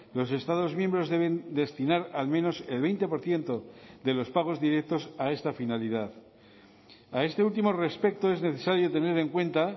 los estados miembros deben destinar al menos el veinte por ciento de los pagos directos a esta finalidad a este último respecto es necesario tener en cuenta